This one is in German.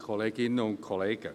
Kommissionssprecher der SAK.